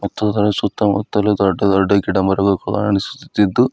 ಮತ್ತು ಅದರ ಸುತ್ತಮುತ್ತಲು ದೊಡ್ಡ ದೊಡ್ಡ ಗಿಡ ಮರಗಳು ಕಾಣುಸ್ತಿದ್ದು--